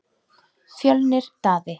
Fjölnir Daði.